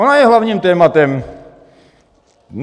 Ona je hlavním tématem.